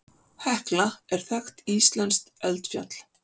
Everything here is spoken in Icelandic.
Hekla er þekkt íslenskt eldfjall.